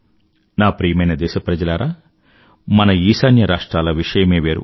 నా ప్రియమైన దేశప్రజలారా మన ఈశాన్య రాష్ట్రాల విషయమే వేరు